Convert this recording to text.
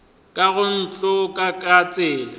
ka go nkotla ka tsela